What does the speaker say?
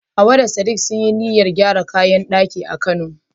Hawwa da sadik sun yi niyyar gyara kayan daki a kano